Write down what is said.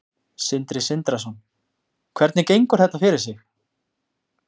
Sindri Sindrason: Hvernig gengur þetta fyrir sig?